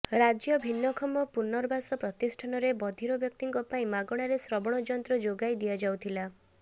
ରାଜ୍ୟ ଭିନ୍ନକ୍ଷମ ପୁନର୍ବାସ ପ୍ରତିଷ୍ଠାନରେ ବଧିର ବ୍ୟକ୍ତିଙ୍କ ପାଇଁ ମାଗଣାରେ ଶ୍ରବଣ ଯନ୍ତ୍ର ଯୋଗାଇ ଦିଆଯାଉଥିଲା